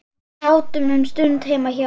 Sátum um stund heima hjá